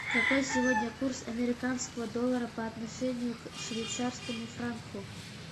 какой сегодня курс американского доллара по отношению к швейцарскому франку